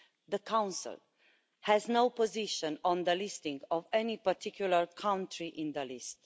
The Council has no position on the listing of any particular country on the list.